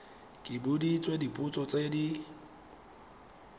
ke boditswe dipotso tse di